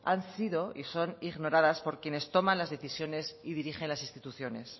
han sido y son ignoradas por quienes toman las decisiones y dirigen las instituciones